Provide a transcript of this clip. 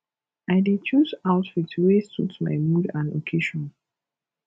i dey choose outfit wey suit my mood and occasion